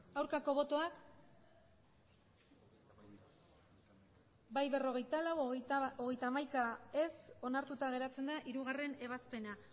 aurkako botoak emandako botoak hirurogeita hamabost bai berrogeita lau ez hogeita hamaika onartuta geratzen da hirugarrena ebazpena